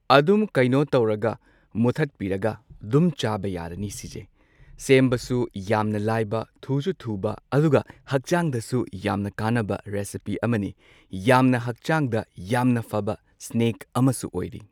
ꯑꯗꯨꯝ ꯀꯩꯅꯣ ꯇꯧꯔꯒ ꯃꯨꯊꯠꯄꯤꯔꯒ ꯗꯨꯝ ꯆꯥꯕ ꯌꯥꯔꯅꯤ ꯁꯤꯖꯦ ꯁꯦꯝꯕꯁꯨ ꯌꯥꯝꯅ ꯂꯥꯏꯕ ꯊꯨꯖꯨ ꯊꯨꯕ ꯑꯗꯨꯒ ꯍꯛꯆꯥꯡꯗꯁꯨ ꯌꯥꯝꯅ ꯀꯥꯟꯅꯕ ꯔꯦꯁꯤꯄꯤ ꯑꯃꯅꯤ ꯌꯥꯝꯅ ꯍꯛꯆꯥꯡꯗ ꯌꯥꯝꯅ ꯐꯕ ꯁ꯭ꯅꯦꯛ ꯑꯃꯁꯨ ꯑꯣꯏꯔꯤ꯫